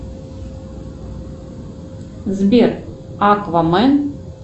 сбер аквамен